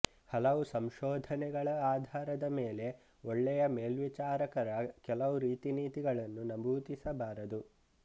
ಹಲವು ಸಂಶೋಧನೆಗಳ ಆಧಾರದ ಮೇಲೆ ಒಳ್ಳೆಯ ಮೇಲ್ವಿಚಾರಕರ ಕೆಲವು ರೀತಿನೀತಿಗಳನ್ನು ನಮೂದಿಸಬಾರದು